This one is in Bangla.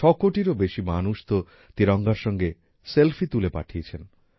ছকোটিরও বেশি মানুষ তো তিরঙ্গার সঙ্গে সেল্ফি তুলে পাঠিয়েছেন